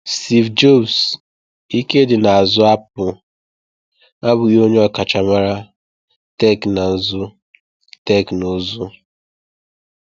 Steve Jobs, ike dị n’azụ Apple, abụghị onye ọkachamara teknụzụ. teknụzụ.